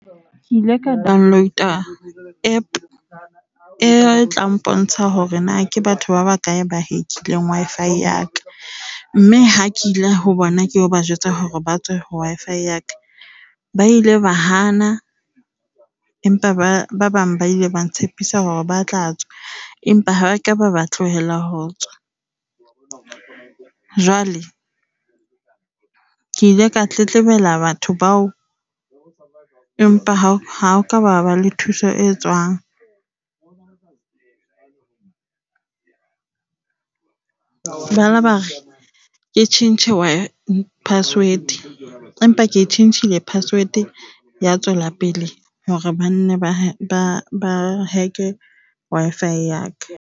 Ke ile ka download-a App e tla mpontsha hore na ke batho ba bakae ba hack-ling Wi-Fi ya ka, mme ha ke ile ho bona ke ilo ba jwetsa hore ba tswe ho Wi-Fi ya ka, ba ile ba hana empa ba bang ba ile ba ntshepisa hore ba tla tswa. Empa ha ke ba ba tlohela ho tswa. Jwale ke ile ka tletlebela batho bao, empa ha ho ka ba ha ba le thuso e tswang. Ba la ba re ke tjhentjhe password empa ke tjhentjhile password, ya tswela pele hore banne ba hack-e Wi-Fi ya ka.